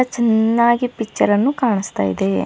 ಅ ಚೆನ್ನಾಗಿ ಪಿಚ್ಚರ್ ಅನ್ನು ಕಾಣಿಸ್ತಾ ಇದೆ.